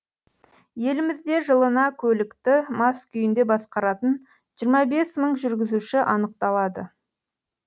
елімізде жылына көлікті мас күйінде басқаратын жиырма бес мың жүргізуші анықталады